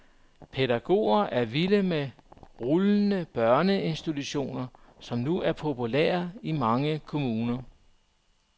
Pædagoger er vilde med rullende børneinstitutioner, som nu er populære i mange kommuner.